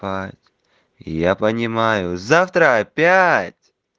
я понимаю завтра опять